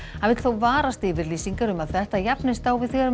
hann vill þó varast yfirlýsingar um að þetta jafnist á við þegar